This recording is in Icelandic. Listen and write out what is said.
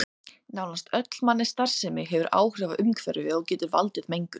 Nánast öll mannleg starfsemi hefur áhrif á umhverfið og getur valdið mengun.